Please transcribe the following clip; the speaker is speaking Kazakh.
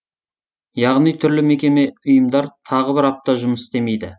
яғни түрлі мекеме ұйымдар тағы бір апта жұмыс істемейді